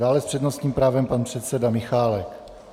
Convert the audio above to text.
Dále s přednostním právem pan předseda Michálek.